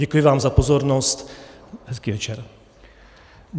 Děkuji vám za pozornost, hezký večer.